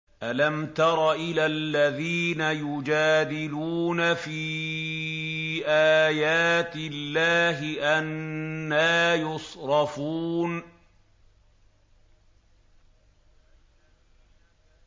أَلَمْ تَرَ إِلَى الَّذِينَ يُجَادِلُونَ فِي آيَاتِ اللَّهِ أَنَّىٰ يُصْرَفُونَ